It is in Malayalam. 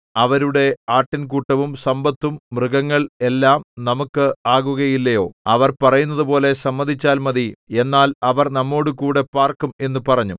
അവരുടെ ആട്ടിൻകൂട്ടവും സമ്പത്തും മൃഗങ്ങൾ എല്ലാം നമുക്ക് ആകുകയില്ലയോ അവർ പറയുന്നതുപോലെ സമ്മതിച്ചാൽ മതി എന്നാൽ അവർ നമ്മോടുകൂടെ പാർക്കും എന്നു പറഞ്ഞു